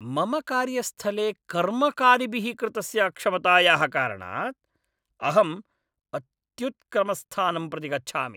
मम कार्यस्थले कर्मकारिभिः कृतस्य अक्षमतायाः कारणात् अहं अत्युत्क्रमस्थानं प्रति गच्छामि।